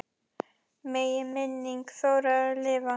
Megi minning Þórðar lifa.